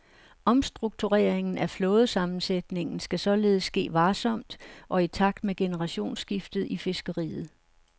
Omstruktureringen af flådesammensætningen skal således ske varsomt og i takt med generationsskiftet i fiskeriet.